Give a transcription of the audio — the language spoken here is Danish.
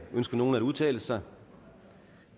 ønsker nogen at udtale sig